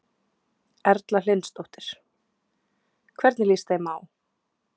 Erla Hlynsdóttir: Hvernig líst þeim á?